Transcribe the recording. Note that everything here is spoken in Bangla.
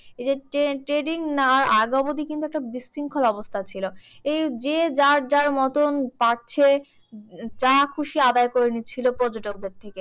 এই যে tra~ training নেওয়ার আগে অবধি কিন্তু একটা বিশৃঙ্খল অবস্থা ছিল। এই যে যার যার মতন পারছে যাখুশি আদায় করে নিচ্ছিলো পর্যটকদের থেকে।